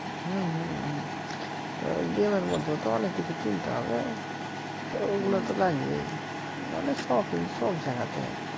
হ্যা হ্যা হ্যা game মধ্যেও তো অনেক কিছু কিনতে হবে তা ও গুলা তো লাগবেই মানে shopping সব জায়গা তে